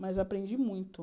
Mas aprendi muito.